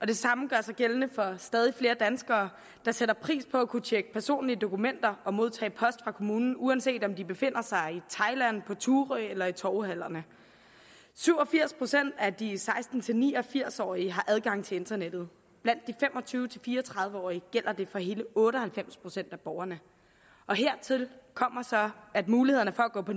det samme gør sig gældende for stadig flere danskere der sætter pris på at kunne tjekke personlige dokumenter og modtage post fra kommunen uanset om de befinder sig i thailand på thurø eller i torvehallerne syv og firs procent af de seksten til ni og firs årige har adgang til internettet blandt de fem og tyve til fire og tredive årige gælder det for hele otte og halvfems procent af borgerne hertil kommer så at mulighederne for at gå på